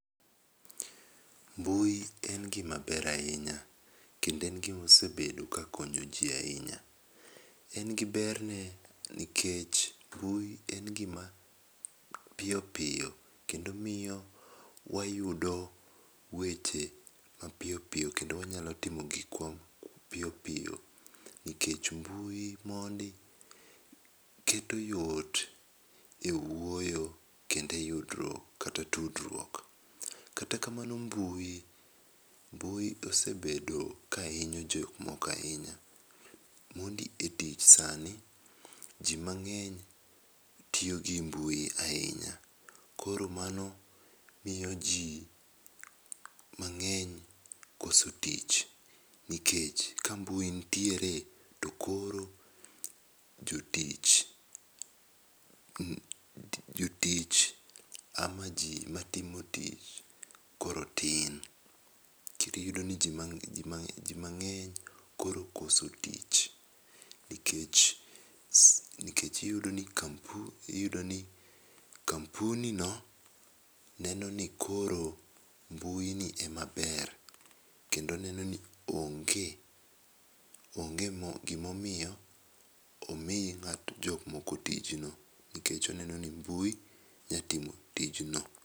Mbui en gima ber ahinya kendo en gima osebedo ka konyo ji ahinya. En gi berne nikech mbui en gima piyo piyo kendo miyo wayudo weche mapiyo piyo kendo wanyalo timo gikwa piyopiyo. Nikech mbui mondi keto yot e wuoyo kendo e yudruok kata tudruok. Kata kamano mbui mbui osebedo ka hinyo jok moko ahinya. Mondi e tich sani joma ng'eny tiyo gi mbui ahinya. Koro mano miyo ji mang'eny koso tich. Nikech ka mbui nitiere to koro jotich jotich ama ji matimo tich koro tin. Kendo iyudo ni ji mang'eny koro okoso tich nikech nikech iyudi ni kampuni no neno ni koro mbui ni e maber kendo neno ni onge onge gimomiyo omi ng'ato jokmoko tijno kikech oneno ni mbui nyatimo tijno.